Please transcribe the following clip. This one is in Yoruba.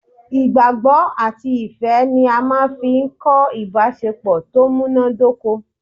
Ìgbàgbọ́ àti ifẹ́ ni a máa n fi kọ́ ìbásepọ̀ tó múnádóko